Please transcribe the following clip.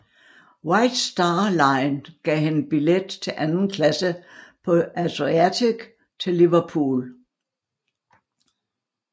White Star Line gav hende billet til anden klasse på Adriatic til Liverpool